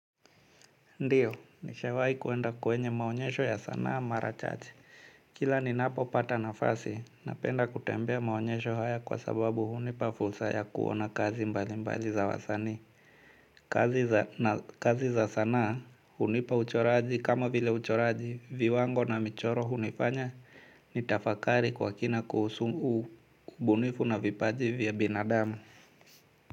Ndio, nishawahi kwenda kwenye maonyesho ya sanaa mara chache. Kila ninapo pata nafasi, napenda kutembea maonyesho haya kwa sababu hunipa fursa ya kuona kazi mbali mbali za wasanii. Kazi za sanaa, hunipa uchoraji kama vile uchoraji, viwango na michoro hunifanya, nitafakari kwa kina kuhusu huu ubunifu na vipaji vya binadamu.